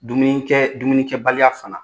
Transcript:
Dumunikɛ dumunikɛbaliya fana